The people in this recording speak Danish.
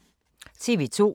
TV 2